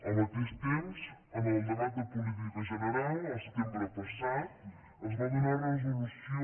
al mateix temps en el debat de política general el setembre passat es va donar resolució